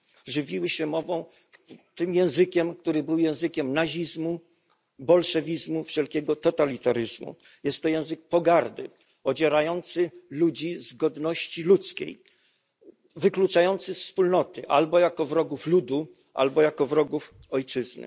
Żywiły się tym językiem, który był językiem nazizmu, bolszewizmu, wszelkiego totalitaryzmu. Jest to język pogardy, odzierający ludzi z godności ludzkiej, wykluczający ze wspólnoty albo jako wrogów ludu, albo jako wrogów ojczyzny.